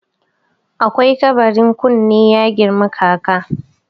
akwai kabarin kunne ya girmi kaka